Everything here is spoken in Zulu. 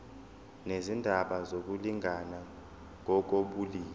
nezindaba zokulingana ngokobulili